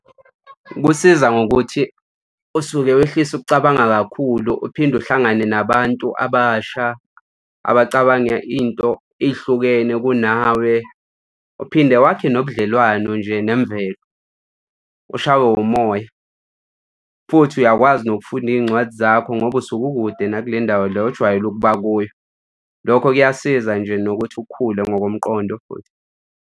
Kusiza ngokuthi usuke wehlise ukucabanga kakhulu, uphinde uhlangane nabantu abasha abacabanga into ey'hlukene kunawe. Uphinde wakhe nobudlelwano nje nemvelo, ushawe umoya futhi uyakwazi nokufunda iy'ncwadi zakho ngoba usuke ukude nakule ndawo le ojwayele ukuba kuyo. Lokho kuyasiza nje nokuthi ukukhule ngokomqondo futhi.